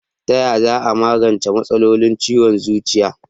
Tayaya za a magance matsalolin ciwon zuciya?